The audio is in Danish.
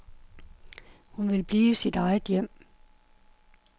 Hun vil blive i sit eget hjem.